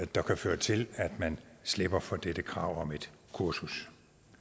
der kan føre til at man slipper for dette krav om et kursus